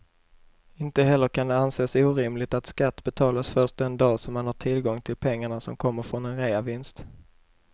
Inte heller kan det anses orimligt att skatt betalas först den dag som man har tillgång till pengarna som kommer från en reavinst.